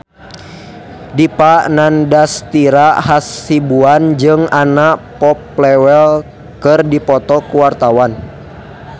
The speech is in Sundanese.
Dipa Nandastyra Hasibuan jeung Anna Popplewell keur dipoto ku wartawan